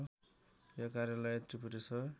यो कार्यालय त्रिपुरेश्वर